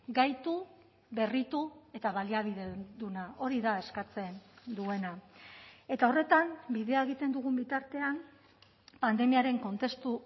gaitu berritu eta baliabideduna hori da eskatzen duena eta horretan bidea egiten dugun bitartean pandemiaren kontestu